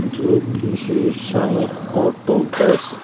जो की Shri Sai auto gas --